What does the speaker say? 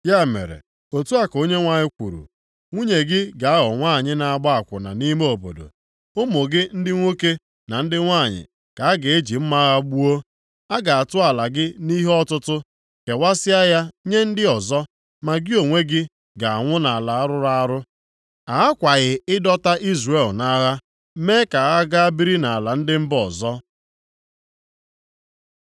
“Ya mere, otu a ka Onyenwe anyị kwuru, “ ‘Nwunye gị ga-aghọ nwanyị na-agba akwụna nʼime obodo. Ụmụ gị ndị nwoke na ndị nwanyị ka a ga-eji mma agha gbuo. A ga-atụ ala gị nʼihe ọtụtụ, kewasịa ya nye ndị ọzọ, ma gị onwe gị ga-anwụ nʼala rụrụ arụ. A ghakwaghị ịdọta Izrel nʼagha mee ka ha gaa biri nʼala ndị mba ọzọ.’ ”